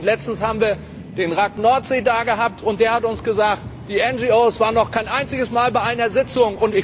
Letztens haben wir den RAC Nordsee dagehabt, und der hat uns gesagt, die NGO waren noch kein einziges Mal bei einer Sitzung.